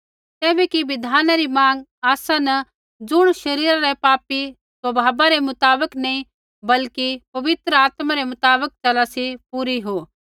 तैबै कि बिधाना री माँग आसा न ज़ुण शरीरा रै पापी स्वभावा रै मुताबक नैंई बल्कि पवित्र आत्मा रै मुताबक चला सी पूरी हो